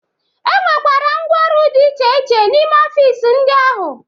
E nwekwara ngwooru dị iche iche n'ime ọfịs ndị ahụ.